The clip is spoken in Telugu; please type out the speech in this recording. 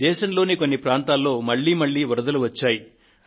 దేశంలోని కొన్ని ప్రాంతాల్లో మళ్లీ మళ్లీ వరదలు వచ్చాయి